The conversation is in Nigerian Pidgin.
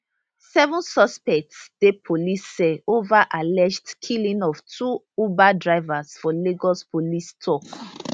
seven suspects dey police cell over alleged killing of two uber drivers for lagos police tok